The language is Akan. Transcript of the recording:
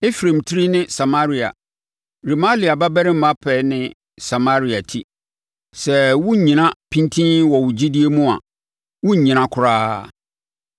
Efraim tiri ne Samaria Remalia babarima pɛ ne Samaria ti. Sɛ woannyina pintinn wɔ wo gyidie mu a, worennyina koraa.’ ”